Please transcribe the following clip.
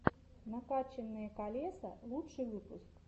накачанные колеса лучший выпуск